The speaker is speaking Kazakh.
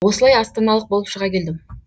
осылай астаналық болып шыға келдім